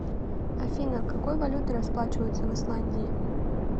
афина какой валютой расплачиваются в исландии